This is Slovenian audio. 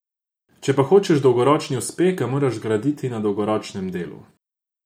Če pa hočeš dolgoročni uspeh, ga moraš graditi na dolgoročnem delu.